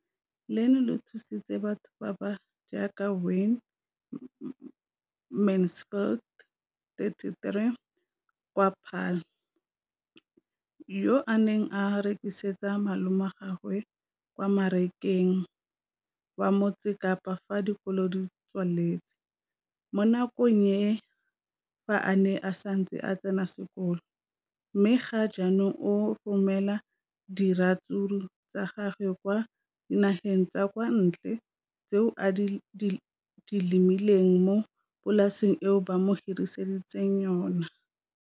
leno le thusitse batho ba ba jaaka Wayne Mansfield, 33, wa kwa Paarl, yo a neng a rekisetsa malomagwe kwa Marakeng wa Motsekapa fa dikolo di tswaletse, mo nakong ya fa a ne a santse a tsena sekolo, mme ga jaanong o romela diratsuru tsa gagwe kwa dinageng tsa kwa ntle tseo a di lemileng mo polaseng eo ba mo hiriseditseng yona.